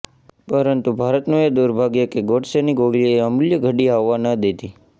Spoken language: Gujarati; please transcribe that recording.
પરંતુ ભારતનું એ દુર્ભાગ્ય કે ગોડસેની ગોળીએ એ અમૂલ્ય ઘડી આવવા ન દીધી